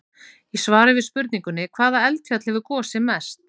Í svari við spurningunni: Hvaða eldfjall hefur gosið mest?